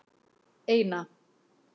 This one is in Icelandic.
eina